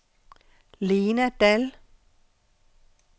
Lena Dall